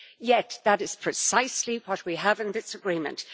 Yet that is precisely what we have in this agreement.